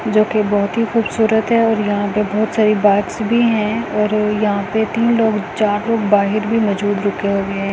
जोकि बहोत ही खूबसूरत है और यहां पे बहोत सारी बाइक्स भी हैं और यहां पे तीन लोग चार लोग बाहेर भी मौजूद रुके हुएं--